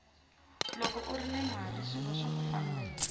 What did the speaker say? loko urini mali swilo swaku fambela